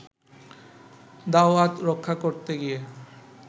দাওয়াত রক্ষা করতে গিয়ে